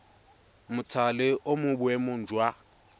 mothale o mo boemong jwa